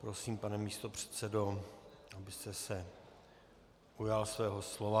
Prosím, pane místopředsedo, abyste se ujal svého slova.